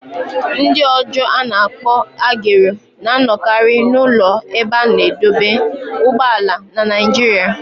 Ndị ọjọọ a na-akpọ agero" na-anọkarị n'ụlọ ebe a na-adọba ụgbọala na Naịjirịa."